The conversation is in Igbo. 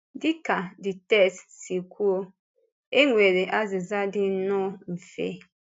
Dị ka the text si kwuo, e nwere azịza dị nnọọ mfe.